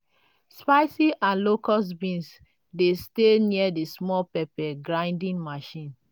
spicy and locust beans dey stay near the small pepper grinding machine.